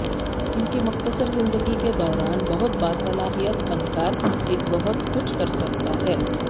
ان کی مختصر زندگی کے دوران بہت باصلاحیت فنکار ایک بہت کچھ کر سکتا ہے